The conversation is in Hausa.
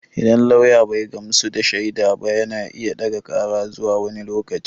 Idan lauya bai gamsu da shaida ba yana iya ɗaga ƙara zuwa wani lokaci.